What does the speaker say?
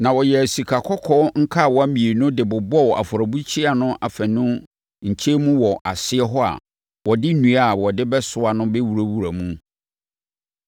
Na ɔyɛɛ sikakɔkɔɔ nkawa mmienu de bobɔɔ afɔrebukyia no afanu nkyɛn mu wɔ aseɛ hɔ a wɔde nnua a wɔde bɛsoa no bɛwurawura mu.